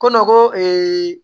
Ko nɔgɔn